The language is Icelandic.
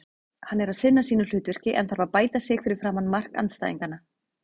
Hann er að sinna sínu hlutverki en þarf að bæta sig fyrir framan mark andstæðinganna.